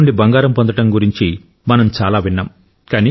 చెత్త నుండి బంగారం పొందడం గురించి మనం చాలా విన్నాం